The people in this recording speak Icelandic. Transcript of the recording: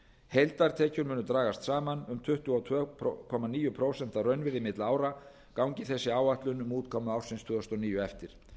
heildartekjur munu dragast saman um tuttugu og tvö komma níu prósent að raunvirði milli ára gangi þessi áætlun um útkomu ársins tvö þúsund og níu eftir